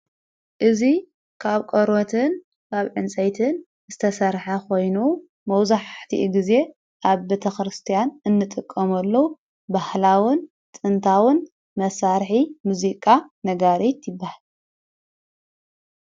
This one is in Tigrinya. እዙይ ካብ ቈርትን ኣብ ዕንጽይትን ዝተሠርሐ ኾይኑ መውዙሕሕቲ ጊዜ ኣብ ብተክርስቲያን እንጥቆሙለዉ ባህላውን ጥንታውን መሣርሒ ሙዚቃ ነጋርት ይብሃል።